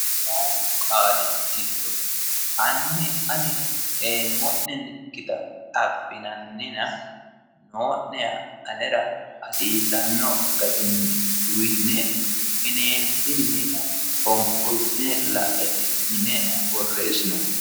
Qulaawu qaali giddo hanni ani ee'monekkita afinannina noo'neha anera hasiisanno garinni uuyitine kaineenitinni foniqolitine la"e"e yine boreesinoonni